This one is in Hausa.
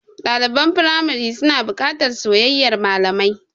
Ɗaliban firamari suna buƙatar soyayyar malamai.